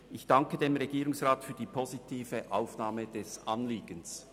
Ich danke dem Regierungsrat für die positive Aufnahme des Anliegens.